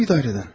Hansı idarədən?